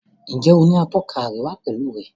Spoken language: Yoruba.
Njé o ní Atọ́ka àríwá pẹlú rẹ?